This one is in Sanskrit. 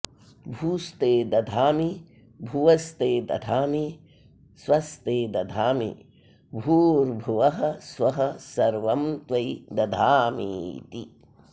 भूस्ते दधामि भुवस्ते दधामि स्वस्ते दधामि भूर्भुवः स्वः सर्वं त्वयि दधामीति